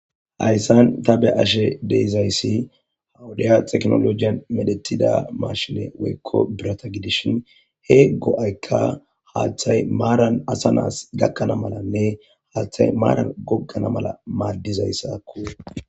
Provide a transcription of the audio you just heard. Hayssan ta bea'she de'zayssa wode theknolojey medhetida mashine woykko biratha gidishin he goa'ykka haththay maran assa nai'ss gakana malane hathay maran gogana mala madizayssakko.